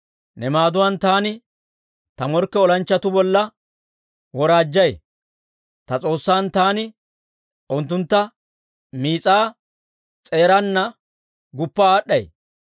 Ne maaduwaan taani ta morkke olanchchatuu bolla woraajjay; ta S'oossan taani unttuntta miis'aa s'eeraana guppa aad'd'ay.